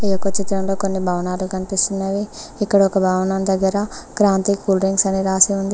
ఈ యొక్క చిత్రంలో కొన్ని భవనాలు కనిపిస్తున్నవి ఇక్కడ ఒక భవనం దగ్గర క్రాంతి కూల్ డ్రింక్స్ అని రాసి ఉంది.